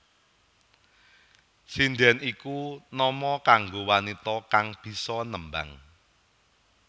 Sindhèn iku nama kanggo wanita kang bisa nembang